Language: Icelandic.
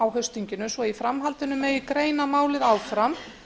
á haustþinginu svo í framhaldinu megi greina málið áfram